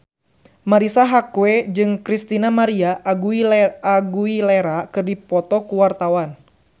Marisa Haque jeung Christina María Aguilera keur dipoto ku wartawan